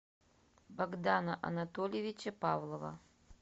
богдана анатольевича павлова